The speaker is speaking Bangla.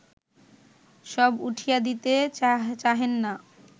সব উঠাইয়া দিতে চাহেন না